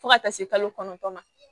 Fo ka taa se kalo kɔnɔntɔn ma